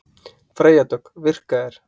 Freyja Dögg: Virka þeir?